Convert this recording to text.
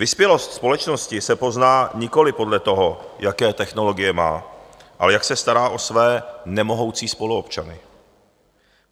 Vyspělost společnosti se pozná nikoliv podle toho, jaké technologie má, ale jak se stará o své nemohoucí spoluobčany.